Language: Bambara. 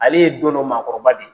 Ale ye don dɔ maakɔrɔba de ye.